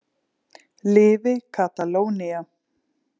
Lifi Katalónía.